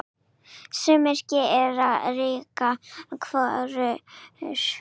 Sumir gera ríkari kröfur.